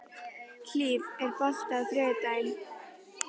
Hlíf, er bolti á þriðjudaginn?